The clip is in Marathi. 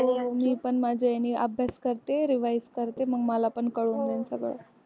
मी पण माझ्या ह्यानी अभ्यास करते revise करते मग मला पण कळून जाईन सगळं .